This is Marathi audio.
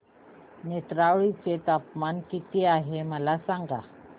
नेत्रावळी चे तापमान किती आहे मला सांगा